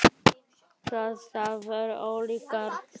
Hvað þær voru ólíkar!